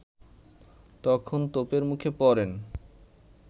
তখন তোপের মুখে পড়েন